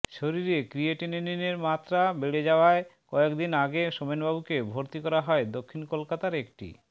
শরীরে ক্রিয়েটিনিনের মাত্রা বেড়ে যাওয়ায় কয়েক দিন আগে সোমেনবাবুকে ভর্তি করা হয় দক্ষিণ কলকাতার একটি